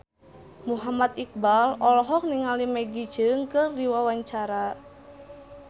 Muhammad Iqbal olohok ningali Maggie Cheung keur diwawancara